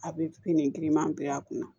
A bɛ nin giriman bila a kun na